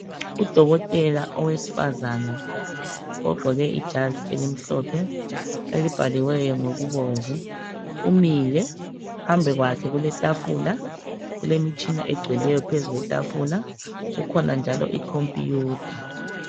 Udokotela owesifaza ogqoke ijazi elimhlophe elibhaliweyo ngokubomvu. Umile, phambi kwakhe kuletafula. Kulemitshina egcweleyo phezu kwetafula. Kukhona njalo ikhompiyutha.